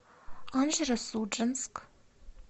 анжеро судженск